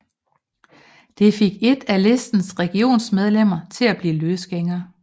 Det fik et af listens regionsrådsmedlemmer til at blive løsgænger